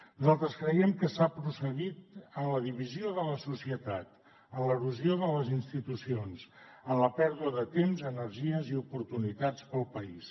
nosaltres creiem que s’ha procedit a la divisió de la societat a l’erosió de les institucions a la pèrdua de temps energies i oportunitats per al país